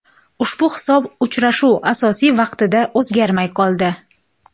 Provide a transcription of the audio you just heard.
Ushbu hisob uchrashuv asosiy vaqtida o‘zgarmay qoldi.